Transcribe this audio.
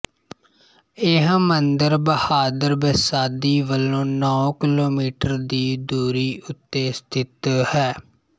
ਇਹ ਮੰਦਿਰ ਬਹਾਦੁਰ ਬਸਾਦੀ ਵਲੋਂ ਨੌਂ ਕਿਲੋਮੀਟਰ ਦੀ ਦੂਰੀ ਉੱਤੇ ਸਥਿਤ ਹੈ